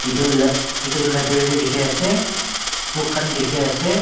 itu lab library tey dikhiase book khan dikhiase.